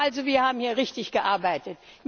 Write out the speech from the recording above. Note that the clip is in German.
Ich glaube also, wir haben hier richtig gearbeitet.